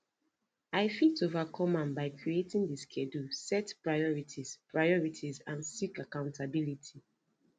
i fit overcome am by creating di schedule set priorities priorities and seek accountability